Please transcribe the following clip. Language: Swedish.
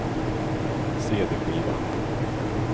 cd-skiva